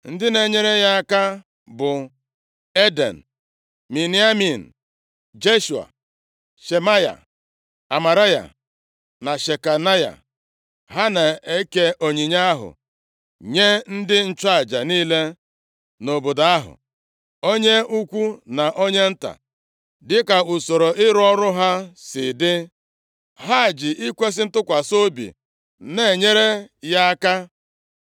Ndị na-enyere ya aka bụ Eden, Miniamin, Jeshua, Shemaya, Amaraya na Shekanaya. Ha na-eke onyinye ahụ nye ndị nchụaja niile nʼobodo ahụ, onye ukwu na onye nta, dịka usoro ịrụ ọrụ ha si dị. Ha ji ikwesi ntụkwasị obi na-enyere ya aka.